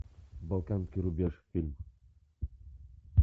балканский рубеж фильм